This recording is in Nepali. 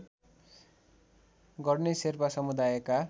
गर्ने शेर्पा समुदायका